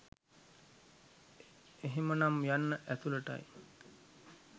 එහෙමනම් යන්න ඇතුළට."යි